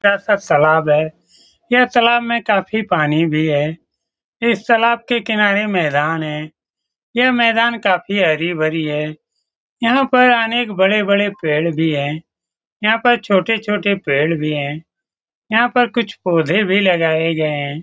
यह सब तालाब है यह तालाब में काफी पानी भी है इस तालाब के किनारे मैदान है यह मैदान काफी हरी-भरी है यहाँ पर अनेक बड़े-बड़े पेड़ भी हैं यहाँ पर छोटे-छोटे पेड़ भी हैं यहाँ पर कुछ पौधे भी लगाये गए हैं ।